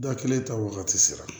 Da kelen ta wagati sera